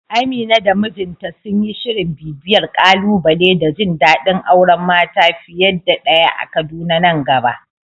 Amina da mijinta sun yi shirin bibiyar ƙalubale da jin dadin auren mata fiye da daya a Kaduna nan gaba.